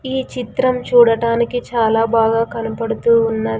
ఈ చిత్రం చూడటానికి చాలా బాగా కనపడుతూ ఉన్న--